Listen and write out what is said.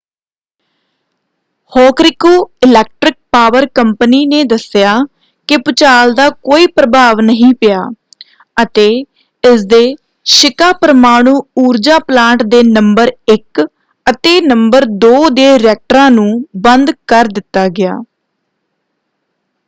Hokuriku electric power company ਨੇ ਦੱਸਿਆ ਕਿ ਭੁਚਾਲ ਦਾ ਕੋਈ ਪ੍ਰਭਾਵ ਨਹੀਂ ਪਿਆ ਅਤੇ ਇਸਦੇ ਸ਼ੀਕਾ ਪਰਮਾਣੂ ਊਰਜਾ ਪਲਾਂਟ ਦੇ ਨੰਬਰ 1 ਅਤੇ ਨੰਬਰ 2 ਦੇ ਰਿਐਕਟਰਾਂ ਨੂੰ ਬੰਦ ਕਰ ਦਿੱਤਾ ਗਿਆ।